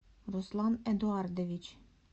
руслан эдуардович